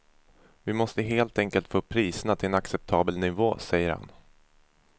Vi måste helt enkelt få upp priserna till en acceptabel nivå, säger han.